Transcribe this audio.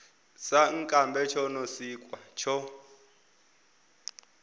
sankambe tsho no siwka tsho